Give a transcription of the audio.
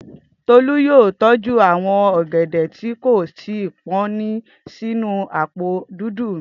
Tolu yóò tọ́jú àwọn ọ̀gẹ́dẹ́ tí kò tí pọ́n náà sínú àpò dúdú.